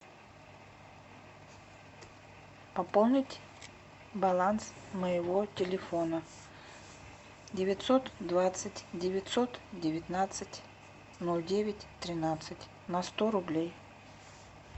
пополнить баланс моего телефона девятьсот двадцать девятьсот девятнадцать ноль девять тринадцать на сто рублей